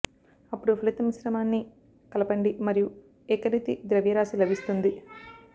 అప్పుడు ఫలిత మిశ్రమాన్ని కలపండి మరియు ఏకరీతి ద్రవ్యరాశి లభిస్తుంది వరకు తక్కువ వేడి మీద అది వేయాలి